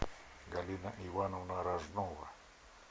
галина ивановна рожнова